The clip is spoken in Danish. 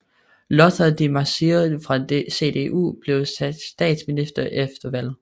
Lothar de Maizière fra CDU blev statsminister efter valget